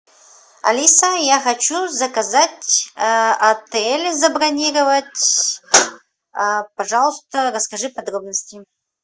алиса я хочу заказать отель забронировать пожалуйста расскажи подробности